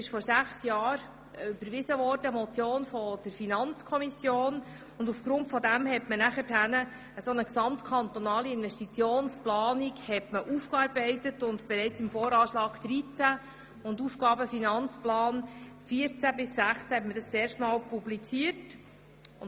Vor sechs Jahren wurde eine Motion der FiKo überwiesen, die dazu führte, dass eine gesamtkantonale Investitionsplanung erarbeitet und im Voranschlag 2013 sowie im Aufgaben-/Finanzplan 2014–2016 zum ersten Mal publiziert wurde.